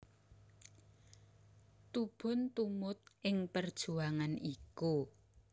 Tubun tumut ing perjuangan iku